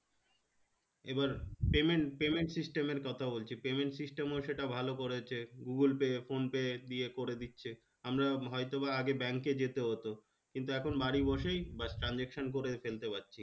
এবার payment payment system এর কথা বলছি payment system ও সেটা ভালো করেছে গুগল পে ফোন পে দিয়ে করে দিচ্ছে আমরা হয়তোবা আগে bank এ যেতে হতো কিন্তু এখন বাড়ি বসেই বাস্ transaction করে ফেলতে পারছি